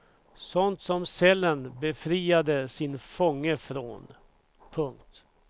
Sånt som cellen befriade sin fånge från. punkt